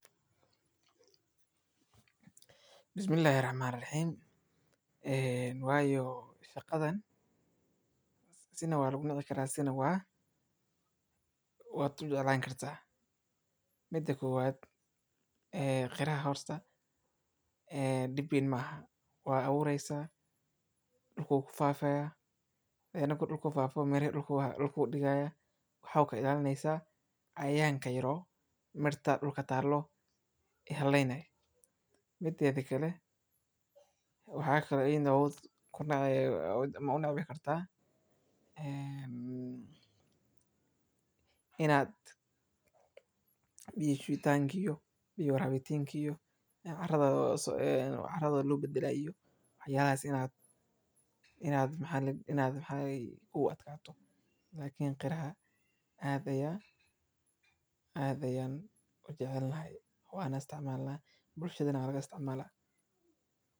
Bismillaahi Raxmaani Raxiim Een waa yo shaqadan sina waa lagu nici karaa sina waa lagu jeclaan karaa. Midda koowaad ee qaraha horta dhib weyn ma aha, waa abuuraysa dhulku ku fidayo. Markuu dhulka ku fido, miraha dhulka dhigaya waxa ka ilaalinaya cayayaanka yar ee miraha dhulka yaalla waxyeelaynayo. Midda kale waxa kaloo ayadana wadi kartaa inaad biyo shubitaanka iyo rabitaanka iyo carado loo badalayo iyo waxyaalahaas inay kugu adkaato. Laakiin qaraha aad ayaan u jeclahay, waana isticmaalnaa, bulshadana waa laga isticmaalaa.